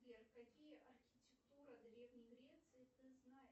сбер какие архитектуры древней греции ты знаешь